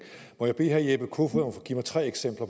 må jeg bede herre jeppe kofod om at give mig tre eksempler